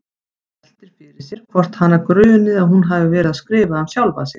Veltir fyrir sér hvort hana gruni að hún hafi verið að skrifa um sjálfa sig.